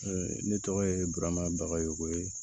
Ne tɔgɔ ye burama bagayokoye